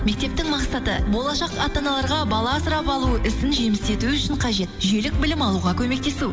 мектептің мақсаты болашақ ата аналарға бала асырап алу ісін жемісті ету үшін қажет жүйелік білім алуға көмектесу